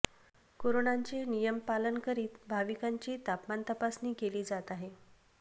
करोनाचे नियम पालन करीत भाविकांची तापमान तपासणी केली जात आहे